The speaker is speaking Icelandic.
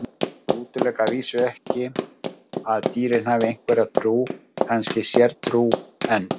Ég útiloka að vísu ekki að dýrin hafi einhverja trú, kannski sértrú, en.